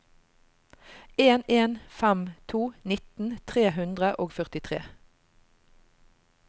en en fem to nitten tre hundre og førtitre